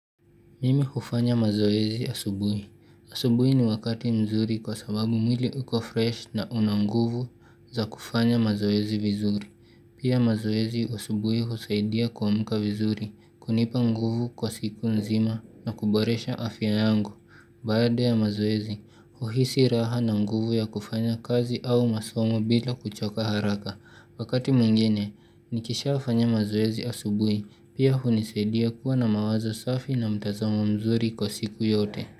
Mimi hufanya mazoezi asubui. Asubui ni wakati mzuri kwa sababu mwili uko fresh na una nguvu za kufanya mazoezi vizuri. Pia mazoezi asubui husaidia kuamka vizuri, kunipa nguvu kwa siku nzima na kuboresha afya yangu. Baada ya mazoezi, huhisi raha na nguvu ya kufanya kazi au masomo bila kuchoka haraka. Wakati mwingine, nikishafanya mazoezi asubui, pia hunisaidia kuwa na mawazo safi na mtazamo mzuri kwa siku yote.